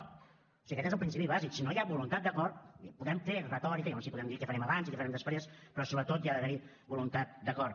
o sigui aquest és el principi bàsic si no hi ha voluntat d’acord podem fer retòrica llavors sí podem dir què farem abans i què farem després però sobretot ha d’haver hi voluntat d’acord